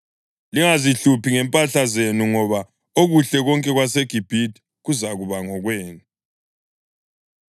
Lingazihluphi ngempahla zenu ngoba okuhle konke kwaseGibhithe kuzakuba ngokwenu.’ ”